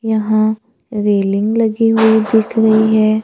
यहां रेलिंग लगी हुई दिख रही है।